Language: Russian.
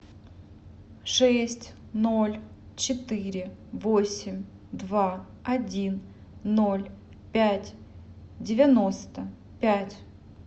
шесть ноль четыре восемь два один ноль пять девяносто пять